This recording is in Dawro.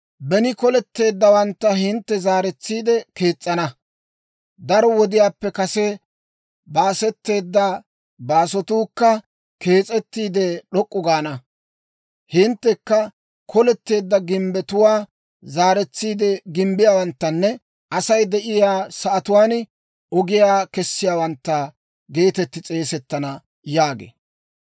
Beni koletteeddawantta hintte zaaretsiide kees's'ana; daro wodiyaappe kase baasetteedda baasotuukka kees'ettiide d'ok'k'u gaana. Hinttekka koletteedda gimbbetuwaa zaaretsiide gimbbiyaawanttanne Asay de'iyaa sa'atuwaan ogiyaa kessiyaawantta geetetti s'eesettana» yaagee.